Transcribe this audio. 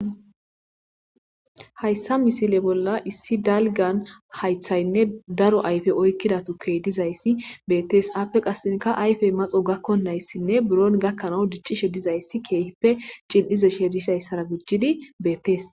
Hayisa misile bolla issi dalgan hayithayinne daro ayipe oyikida tuke dizaysi beetes. Ape qaseka ayipe maxo gakonaysine bron gakan dic'ishe dizays keehipe c'ilishe dizaysara gujidi beetes.